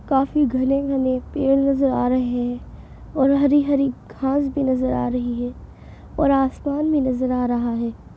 काफ़ी घने-घने पेड़ नजर आ रहे हैं और हरी-हरी घास भी नजर आ रही है और आसमान भी नजर आ रहा है।